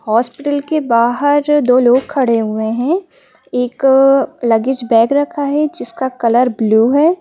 Hospital के बाहर दो लोग खड़े हुए हैं एक लगेज बैग रखा है जिसका कलर ब्लू है।